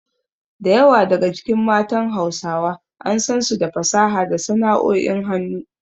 Da yawa daga cikin matan Hausawa an san su da fasaha da sana’o’in hannu.